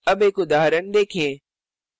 अब एक उदाहरण देखें